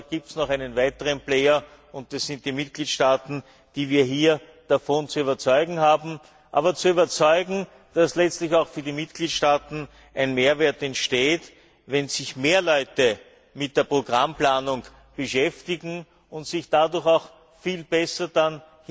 Aber es gibt noch einen weiteren Player, und das sind die Mitgliedstaaten, die wir hier davon zu überzeugen haben, dass letztlich auch für die Mitgliedstaaten ein Mehrwert entsteht, wenn sich mehr Leute mit der Programmplanung beschäftigen und sich dadurch hinterher viel besser damit